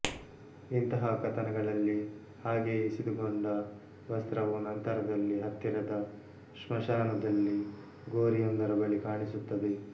ಇಂತಹ ಕಥನಗಳಲ್ಲಿ ಹಾಗೆ ಇಸಿದುಕೊಂಡ ವಸ್ತ್ರವು ನಂತರದಲ್ಲಿ ಹತ್ತಿರದ ಶ್ಮಶಾನದಲ್ಲಿ ಗೋರಿಯೊಂದರ ಬಳಿ ಕಾಣಿಸುತ್ತದೆ